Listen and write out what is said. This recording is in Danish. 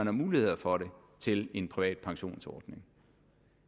har muligheder for det til en privat pensionsordning